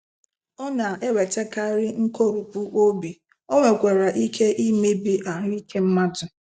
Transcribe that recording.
ọ na-ewetakarị nkoropụ obi,o nwekwara ike imebi ahụ ike mmadụ.